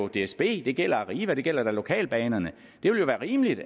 dsb det gælder arriva det gælder lokalbanerne det ville være rimeligt